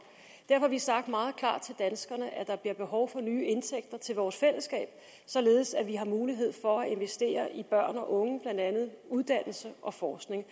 det derfor har vi sagt meget klart til danskerne at der bliver behov for nye indtægter til vores fællesskab således at vi har mulighed for at investere i børn og unge blandt andet uddannelse og forskning